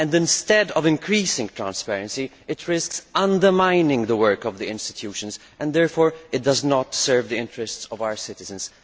Instead of increasing transparency, it risks undermining the work of the institutions and therefore it does not serve the interests of our citizens.